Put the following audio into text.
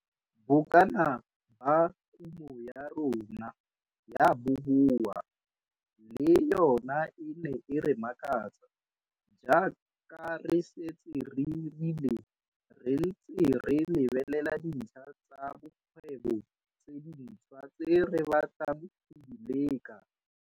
Bokana ba kumo ya rona ya boboa le yona e ne e re makatsa. Jaaka re setse re rile, re ntse re lebelela dintlha tsa bokgwebo tse dintshwa tse re batlang go di leka.